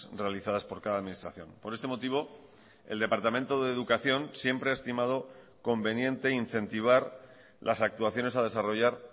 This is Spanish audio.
realizadas por cada administración por este motivo el departamento de educación siempre ha estimado conveniente incentivar las actuaciones a desarrollar